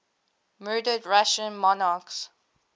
murdered russian monarchs